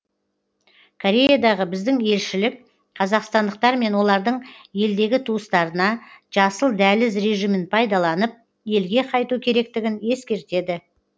кореядағы біздің елшілік қазақстандықтар мен олардың елдегі туыстарына жасыл дәліз режимін пайдаланып елге қайту керектігін ескертеді